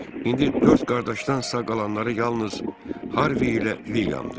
İndi dörd qardaşdansa qalanları yalnız Harvi ilə Vilyamdır.